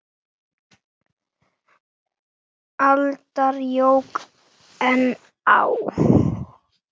aldar jók enn á.